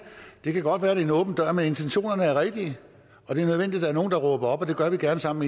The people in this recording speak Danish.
det kan godt være det er en åben dør men intentionerne er rigtige og det er nødvendigt er nogle der råber op det gør vi gerne sammen